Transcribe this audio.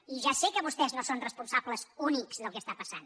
i ja sé que vostès no són responsables únics del que passa